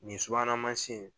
Nin subuhana mansin